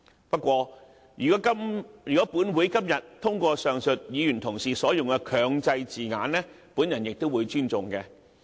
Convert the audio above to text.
不過，如果立法會今天通過上述議員所用的"強制"字眼，我亦會尊重。